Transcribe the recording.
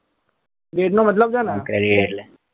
એનો મતલબ છે ને આમ credit એટલે